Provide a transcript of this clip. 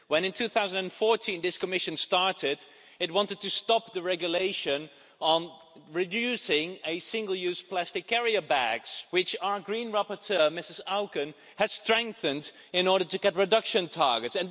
When, in 2014, this Commission started, it wanted to stop the regulation on reducing single-use plastic carrier bags, which our Green rapporteur, Ms Auken, has strengthened in order to get reduction targets.